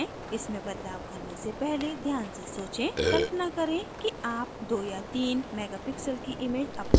इसमें बदलाव करने से पहले ध्यान से सोचें कल्पना करें कि आप 2 या 3 megapixel की इमैज upload कर रहे हैं